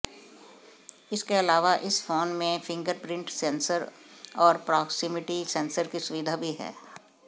इसके अलावा इस फोन में फिंगरप्रिंट सेंसर और प्रॉक्सिमिटी सेंसर की सुविधा भी है